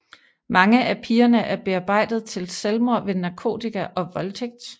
Mange af pigerne er bearbejdet til selvmord ved narkotika og voldtægt